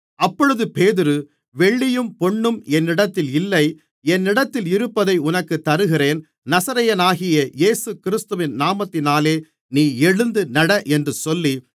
அப்பொழுது பேதுரு வெள்ளியும் பொன்னும் என்னிடத்தில் இல்லை என்னிடத்தில் இருப்பதை உனக்குத் தருகிறேன் நசரேயனாகிய இயேசுகிறிஸ்துவின் நாமத்தினாலே நீ எழுந்து நட என்று சொல்லி